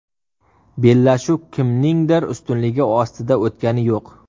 Bellashuv kimningdir ustunligi ostida o‘tgani yo‘q.